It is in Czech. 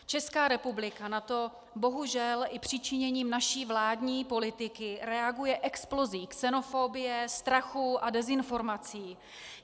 Česká republika na to bohužel i přičiněním naší vládní politiky reaguje explozí xenofobie, strachu a dezinformací.